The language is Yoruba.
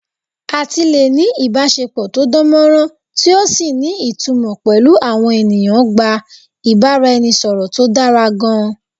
Àti lè ní ìbásepọ̀ tó dánmọ́nrán tí ò sì ní ìtumọ̀ pẹ̀lú àwọn ènìyàn gba ìbáraẹnisọ̀rọ̀ tó dára gan-an